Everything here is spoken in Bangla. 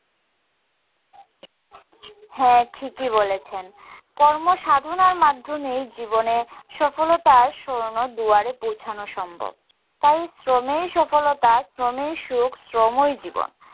হ্যাঁ। ঠিকই বলেছেন। কর্ম সাধনার মাধ্যমেই জীবনে সফলতার স্বর্ণদুয়ারে পৌছানো সম্ভব। তাই শ্রমেই সফলতা, শ্রমেই সুখ, শ্রমই জীবন।